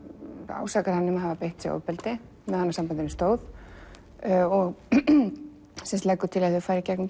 ásakar hann um að hafa beitt sig ofbeldi á meðan sambandinu stóð og leggur til að þau fari í gegnum